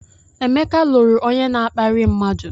Emeka lụrụ onye na-akparị mmadụ.